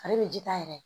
Ale bɛ ji ta yɛrɛ